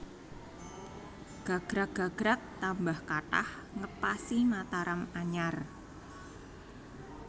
Gagrag gagrag tambah kathah ngepasi Mataram anyar